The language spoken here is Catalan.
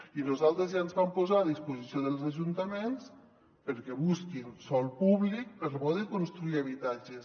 i nosaltres ja ens vam posar a disposició dels ajuntaments perquè busquin sòl públic per poder construir habitatges